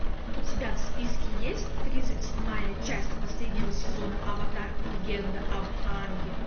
у тебя в списке есть тридцать седьмая часть последнего сезона аватар легенда об аанге